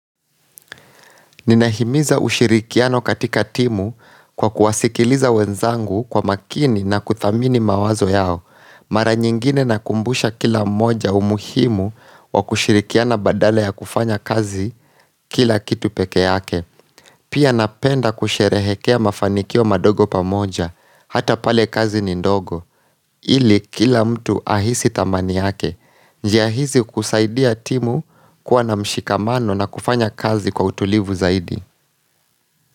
Ninahimiza ushirikiano katika timu kwa kuwasikiliza wenzangu kwa makini na kuthamini mawazo yao. Mara nyingine nakumbusha kila mmoja umuhimu wa kushirikiana badala ya kufanya kazi kila kitu peke yake. Pia napenda kusherehekea mafanikio madogo pamoja. Hata pale kazi ni ndogo. Ili kila mtu ahisi thamani yake. Njia hizi kusaidia timu kuwa na mshikamano na kufanya kazi kwa utulivu zaidi.